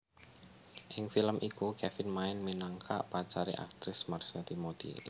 Ing film iku Kevin main minangka pacare aktris Marsha Timothy